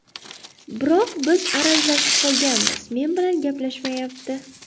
Biroq biz arazlashib qolganmiz, men bilan gaplashmayapti.